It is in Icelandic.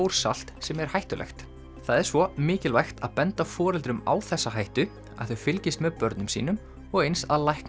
bórsalt sem er hættulegt það er svo mikilvægt að benda foreldrum á þessa hættu að þau fylgist með börnum sínum og eins að læknar